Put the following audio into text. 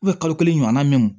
kalo kelen ɲɔgɔnna mɛ mun